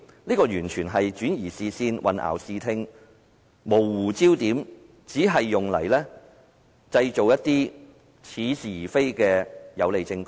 這完全是轉移視線、混淆視聽，模糊焦點，只是用來製造一些似是而非的有利證供。